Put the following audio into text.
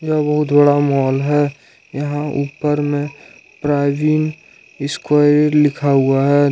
यह बहुत बड़ा मॉल है यहां ऊपर में प्रवीन स्क्वायर लिखा हुआ है।